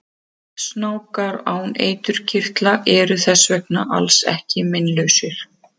Snákar án eiturkirtla eru þess vegna alls ekki meinlausir!